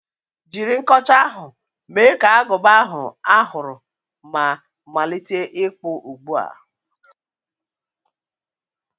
Jiri nkọcha ahụ, mee ka agụba ahụ a hụrụ ma malite ịkpụ ugbu a!